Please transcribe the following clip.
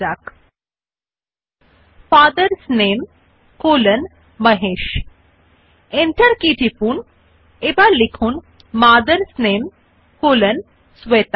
হতে বিন্যাস ধরন আপনার পছন্দ উপর নির্ভরশীল সংখ্যার মধ্যে আছে বুলেট সেইসাথে সংখ্যার মধ্যে বুলেট পারেন there can be bullets within bullets as well as numbers within numbers depending upon the type of format you choose